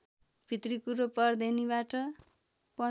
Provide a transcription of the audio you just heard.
भित्री कुरो पँर्धेनीबाट